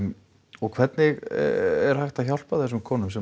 og hvernig er hægt að hjálpa þessum konum sem